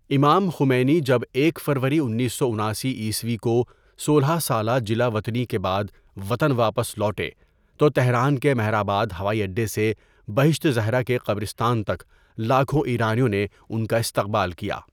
امام خمینى جب ایک فرورى انیس سو اناسی عیسوی كو سولہ سالہ جلا وطنی کے بعد وطن واپس لوٹے تو تہران کے مہر آباد ہوائی اڈے سے بہشت زہرا کے قبرستان تک لاکھوں ایرانیوں نے ان کا استقبال کیا.